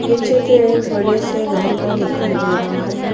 ये चित्र एक बड़े से घर का दिखाई दे रहा है।